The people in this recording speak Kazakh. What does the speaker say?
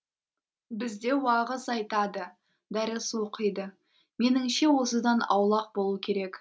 бізде уағыз айтады дәріс оқиды меніңше осыдан аулақ болу керек